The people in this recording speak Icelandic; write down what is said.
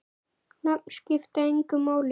Nöfn skipta engu máli.